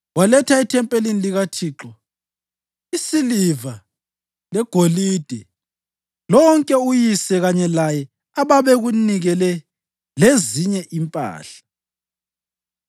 Waletha ethempelini likaThixo isiliva legolide lonke uyise kanye laye ababekunikele lezinye impahla.